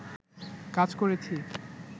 কাজ করেছি